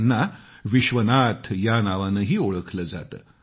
त्यांना विश्वनाथ या नावानंही ओळखलं जातं